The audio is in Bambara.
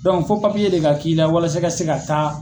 fo de ka k'i la walasa i ka se ka taa